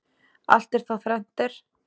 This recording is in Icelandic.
Allt er þá þrennt er.